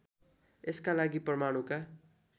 यसका लागि परमाणुका